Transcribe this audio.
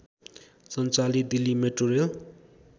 सञ्चालित दिल्ली मेट्रोरेल